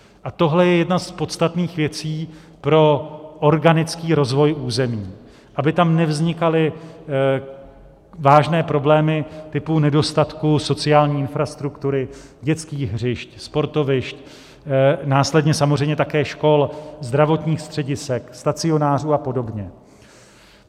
A tohle je jedna z podstatných věcí pro organický rozvoj území, aby tam nevznikaly vážné problémy typu nedostatku sociální infrastruktury, dětských hřišť, sportovišť, následně samozřejmě také škol, zdravotních středisek, stacionářů a podobně.